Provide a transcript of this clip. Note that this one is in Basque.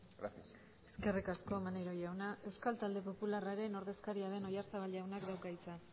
gracias eskerri asko maneiro jauna euskal talde popularraren ordezkaria den oyarzabal jaunak dauka hitza